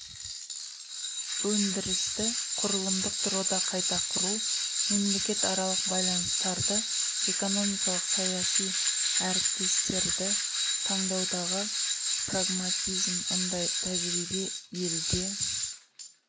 өндірісті құрылымдық тұрғыда қайта құру мемлекет аралық байланыстарды экономикалық саяси әріптестерді таңдаудағы прагматизм мұндай тәжірибе елде